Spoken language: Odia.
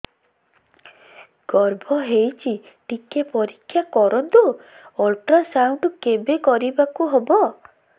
ଗର୍ଭ ହେଇଚି ଟିକେ ପରିକ୍ଷା କରନ୍ତୁ ଅଲଟ୍ରାସାଉଣ୍ଡ କେବେ କରିବାକୁ ହବ